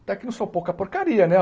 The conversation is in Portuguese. Até que não sou pouca porcaria, né?